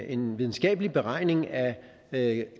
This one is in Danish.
en videnskabelig beregning af